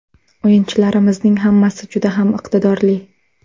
O‘yinchilarimizning hammasi juda ham iqtidorli.